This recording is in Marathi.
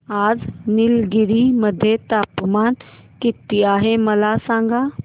आज निलगिरी मध्ये तापमान किती आहे मला सांगा